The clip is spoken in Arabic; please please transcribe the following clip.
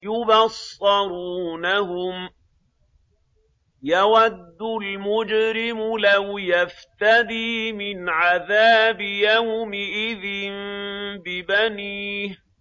يُبَصَّرُونَهُمْ ۚ يَوَدُّ الْمُجْرِمُ لَوْ يَفْتَدِي مِنْ عَذَابِ يَوْمِئِذٍ بِبَنِيهِ